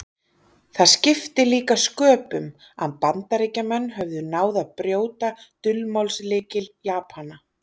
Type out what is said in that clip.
Það skipti líka sköpum að Bandaríkjamenn höfðu náð að brjóta dulmálslykil Japana.